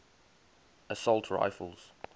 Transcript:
assault rifles